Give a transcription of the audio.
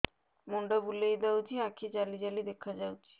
ମୁଣ୍ଡ ବୁଲେଇ ଦଉଚି ଆଖି ଜାଲି ଜାଲି ଦେଖା ଯାଉଚି